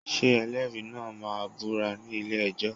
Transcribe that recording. Ṣé ẹlẹ́rìí náà máa búra ní ilé-ẹjọ́?